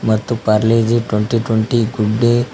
ಮತ್ತು Parle G twenty twenty good day --